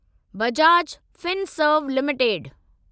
Bajaj Finserv limited